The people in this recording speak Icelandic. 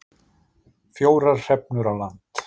Fjórar hrefnur á land